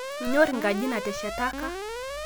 Inyor nkaji naateshataka